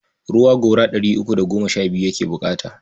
Ruwa gora ɗari uku da goma sha biyu ake buƙata.